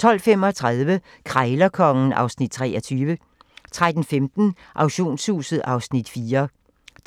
12:35: Krejlerkongen (Afs. 23) 13:15: Auktionshuset (Afs. 4)